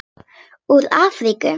Úr Afríku!